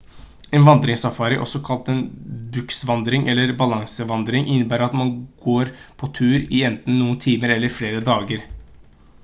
en vandringssafari også kalt en «buskvandring» eller «balansevandring» innebærer at man går på tur i enten noen timer eller i flere dager